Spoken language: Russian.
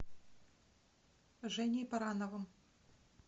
женей барановым